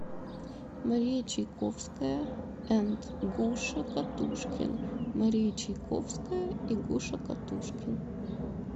мария чайковская энд гуша катушкин мария чайковская и гуша катушкин